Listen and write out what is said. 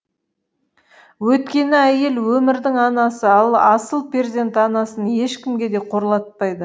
өйткені әйел өмірдің анасы ал асыл перзент анасын ешкімге де қорлатпайды